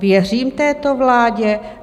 Věřím této vládě?